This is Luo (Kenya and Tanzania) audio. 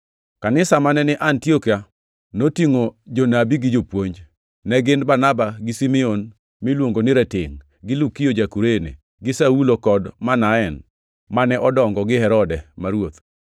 Kanisa mane ni Antiokia notingʼo jonabi gi jopuonj. Ne gin Barnaba gi Simeon miluongo ni Ratengʼ, gi Lukio ja-Kurene, gi Saulo kod Manaen mane odongo gi Herode ma ruoth.